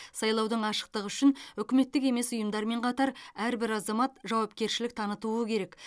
сайлаудың ашықтығы үшін үкіметтік емес ұйымдармен қатар әрбір азамат жауапкершілік танытуы керек